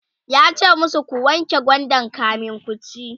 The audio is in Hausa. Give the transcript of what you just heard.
yace masu "ku wanke gwandan kamin kuci!"